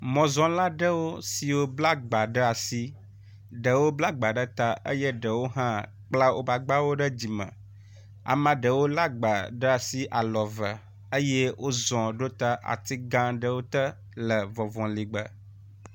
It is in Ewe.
Mɔzɔla aɖewo siwo bla gba ɖe asi. Ɖewo bla gba ɖe ta eye ɖewo hã kpla wotɔ ɖe dzime. Ame ɖewo la gba ɖe asi alɔ eve eye wozɔ ɖo ta ati gã ɖewo te le ŋɔŋɔli gbe.